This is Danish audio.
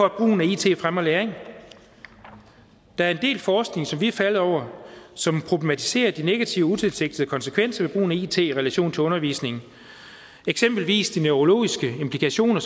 at brugen af it fremmer læring der er en del forskning som vi er faldet over som problematiserer de negative utilsigtede konsekvenser brugen af it i relation til undervisning eksempelvis de neurologiske implikationer